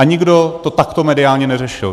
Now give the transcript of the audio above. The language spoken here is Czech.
A nikdo to takto mediálně neřešil.